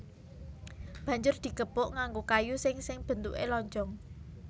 Banjur digepuk nganggo kayu sing sing bentuké lonjong